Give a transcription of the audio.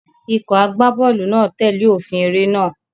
Ikọ̀ agbábọ́ọ̀lù náà tẹ̀lé òfin eré náà.